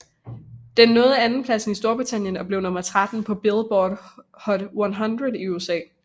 Den nåede andenpladsen i Storbritannien og blev nummer 13 på Billboard Hot 100 i USA